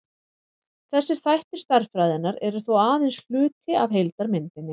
þessir þættir stærðfræðinnar eru þó aðeins hluti af heildarmyndinni